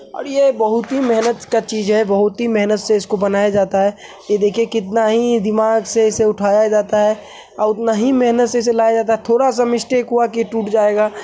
और ये बहुत ही महेनत का चीज़ है। बहुत ही मेहनत से इसको बनाया जाता है। ये देखिए कितना ही दिमाग से उठाया उसे जाता और उतना ही मेहनत से उसे लाया जाता है। थोड़ा सा मिस्टेक हुआ की टूट जाएगा।